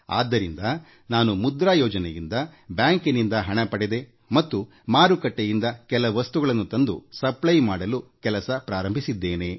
ಹೀಗಾಗಿಮುದ್ರಾ ಯೋಜನೆಯಡಿ ಬ್ಯಾಂಕಿನಿಂದ ಹಣ ಸಾಲ ಪಡೆದೆ ಮತ್ತು ಮಾರುಕಟ್ಟೆಯಿಂದ ಕೆಲ ವಸ್ತುಗಳನ್ನ ತಂದು ಮಾರಾಟ ಮಾಡುವ ಕೆಲಸ ಪ್ರಾರಂಭಿಸಿದ್ದೇನೆ